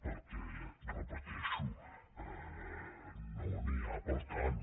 perquè ho repeteixo no n’hi ha per a tant